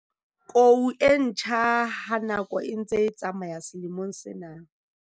Kou e ntjha ha nako e ntse e tsamaya selemong sena.